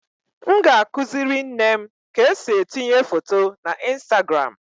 M ga-akụziri nne m ka esi etinye foto na Instagram